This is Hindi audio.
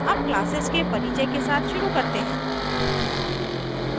अब classes के परिचय के साथ शुरू करते हैं